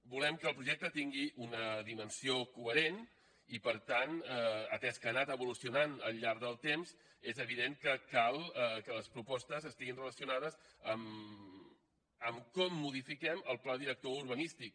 volem que el projecte tingui una dimensió coherent i per tant atès que ha anat evolucionant al llarg del temps és evident que cal que les propostes estiguin relacionades amb com modifiquem el pla director urbanístic